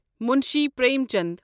Munshi Prem Chand